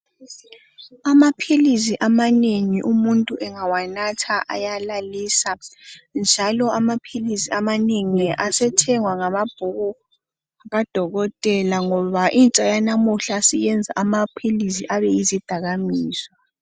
Amaphilisi amanengi umuntu engawanatha ayalalisa njalo amaphilisi amanengi asethengwa ngamabhuku kadokotela ngoba intsha yanamuhla siyenza amaphilisi abe yizidakamizwa .